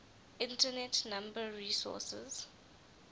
internet number resources